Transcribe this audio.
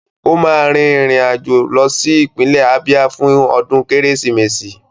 Ó máa rìnrìn àjò lọ sí ìpínlẹ̀ Ábíá fún ọdún Kérésìmesì